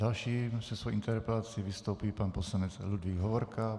Další se svou interpelací vystoupí pan poslanec Ludvík Hovorka.